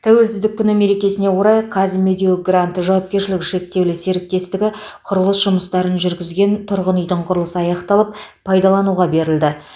тәуелсіздік күні мерекесіне орай каз медео гранд жауапкершілігі шектеулі серіктестігі құрылыс жұмыстарын жүргізген тұрғын үйдің құрылысы аяқталып пайдалануға берілді